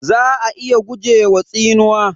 Za'a iya gujewa tsinuwa.